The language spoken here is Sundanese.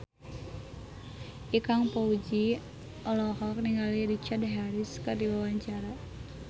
Ikang Fawzi olohok ningali Richard Harris keur diwawancara